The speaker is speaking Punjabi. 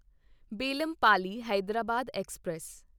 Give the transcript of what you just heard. ਬੇਲਮਪੱਲੀ ਹੈਦਰਾਬਾਦ ਐਕਸਪ੍ਰੈਸ